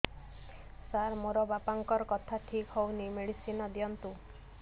ସାର ମୋର ବାପାଙ୍କର କଥା ଠିକ ହଉନି ମେଡିସିନ ଦିଅନ୍ତୁ